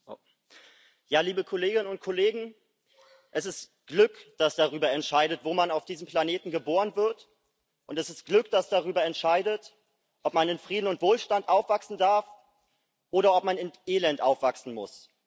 Herr Präsident! Liebe Kolleginnen und Kollegen! Es ist Glück, das darüber entscheidet, wo man auf diesem Planeten geboren wird, und es ist Glück, das darüber entscheidet, ob man in Frieden und Wohlstand aufwachsen darf, oder ob man in Elend aufwachsen muss.